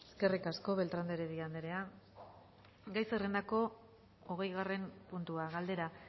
eskerrik asko beltrán de heredia anderea gai zerrendako hogeigarren puntua galdera